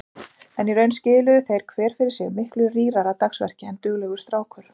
En í raun skiluðu þeir hver fyrir sig miklu rýrara dagsverki en duglegur strákur.